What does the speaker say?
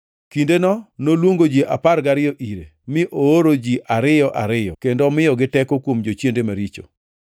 Kindeno noluongo ji apar gariyo ire, mi oorogi ji ariyo ariyo, kendo omiyogi teko kuom jochiende maricho.